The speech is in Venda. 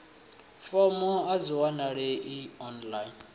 fomo a dzi wanalei online